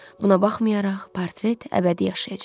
Buna baxmayaraq portret əbədi yaşayacaq.